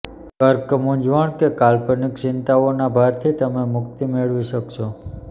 કર્ક મૂંઝવણ કે કાલ્પનિક ચિંતાઓના ભારથી તમે મુક્તિ મેળવી શકશો